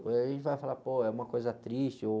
E aí a gente vai falar, pô, é uma coisa triste ou...